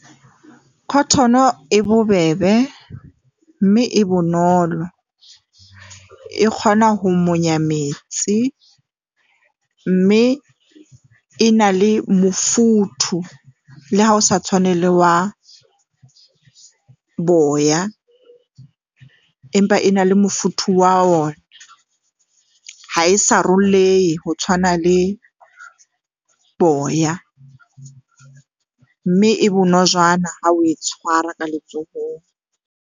Cotton-o e bobebe, mme e bonolo, e kgona ho monya metsi mme e na le mofuthu. Le ha o sa tshwane le wa boya, empa e na le mofuthu wa wona. Ha e sarollehe ho tshwana le boya mme e bonojana ha o e tshwara ka letsohong.